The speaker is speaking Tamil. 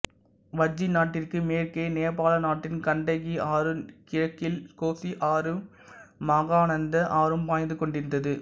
வஜ்ஜி நாட்டிற்கு மேற்கே நேபாள நாட்டின் கண்டகி ஆறும் கிழக்கில் கோசி ஆறும் மகாநந்த ஆறும் பாய்ந்து கொண்டிருந்தது